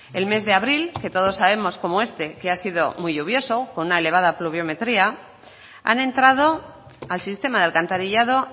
el mes de abril que todos sabemos cómo este que ha sido muy lluvioso con una elevada pluviometría han entrado al sistema de alcantarillado